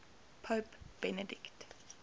pope benedict